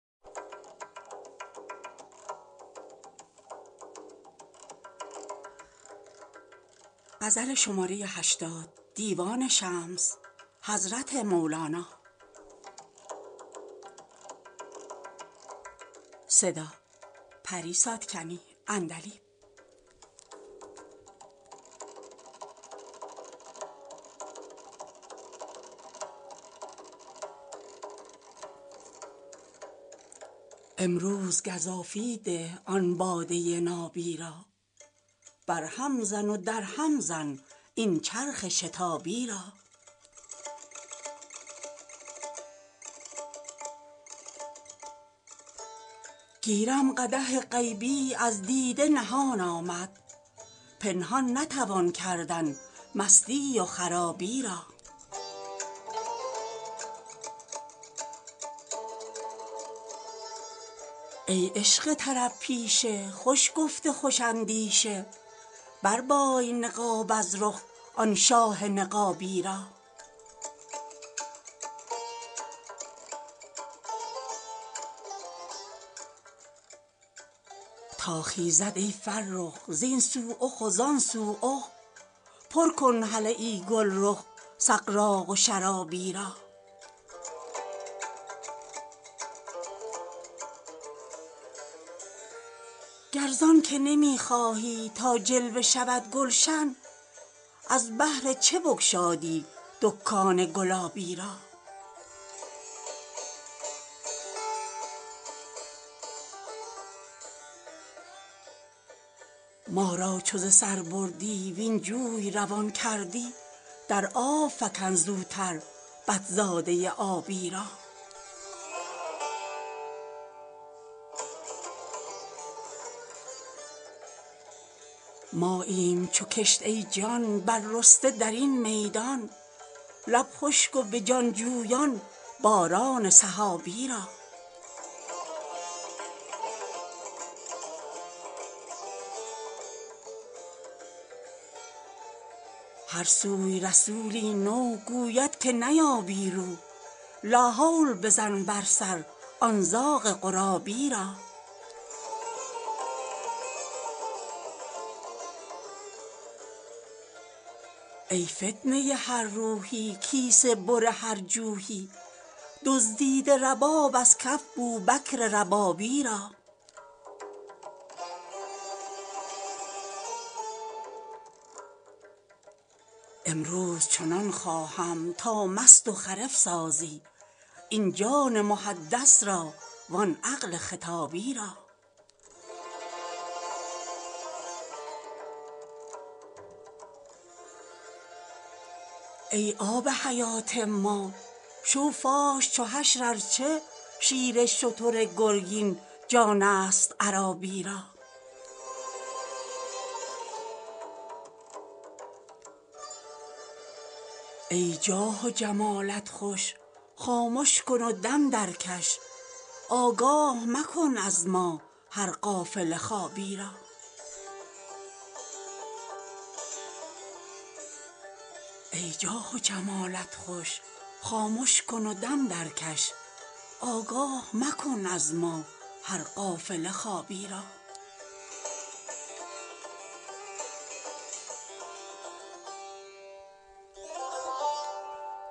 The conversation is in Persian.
امروز گزافی ده آن باده نابی را برهم زن و درهم زن این چرخ شتابی را گیرم قدح غیبی از دیده نهان آمد پنهان نتوان کردن مستی و خرابی را ای عشق طرب پیشه خوش گفت خوش اندیشه بربای نقاب از رخ آن شاه نقابی را تا خیزد ای فرخ زین سو اخ و زان سو اخ برکن هله ای گلرخ سغراق و شرابی را گر زان که نمی خواهی تا جلوه شود گلشن از بهر چه بگشادی دکان گلابی را ما را چو ز سر بردی وین جوی روان کردی در آب فکن زوتر بط زاده ی آبی را ماییم چو کشت ای جان بررسته در این میدان لب خشک و به جان جویان باران سحابی را هر سوی رسولی نو گوید که نیابی رو لاحول بزن بر سر آن زاغ غرابی را ای فتنه ی هر روحی کیسه بر هر جوحی دزدیده رباب از کف بوبکر ربابی را امروز چنان خواهم تا مست و خرف سازی این جان محدث را وان عقل خطابی را ای آب حیات ما شو فاش چو حشر ار چه شیر شتر گرگین جانست عرابی را ای جاه و جمالت خوش خامش کن و دم درکش آگاه مکن از ما هر غافل خوابی را